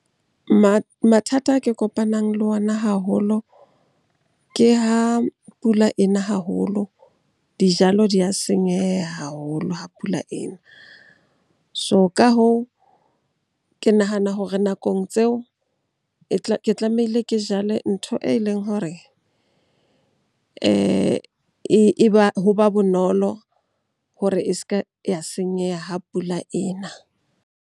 Mathata a kopanang le ona haholo ke ha pula e na haholo, dijalo di a senyeha haholo ha pula e na. So ka hoo, ke nahana hore nakong tseo ke tlamehile ke jale ntho e leng hore ho ba bonolo hore e se ke ya senyeha ha pula e na.